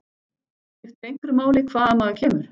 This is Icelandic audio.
Skiptir einhverju máli hvaðan maður kemur?